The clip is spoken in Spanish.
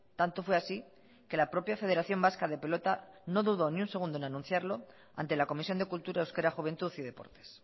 tanto fue así que la propia federación vasca de pelota no dudó ni un segundo en anunciarlo ante la comisión de cultura euskera juventud y deportes